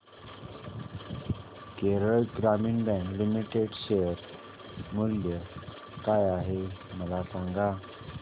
केरळ ग्रामीण bank limited share मूल्य काय आहे मला सांगा